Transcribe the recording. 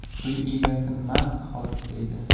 Uy egasi mast holatda edi.